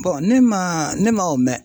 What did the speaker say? ne man ne man o mɛn.